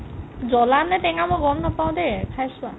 জ্বলা নে টেঙা মই গম নাপাও দেই খাই চোৱা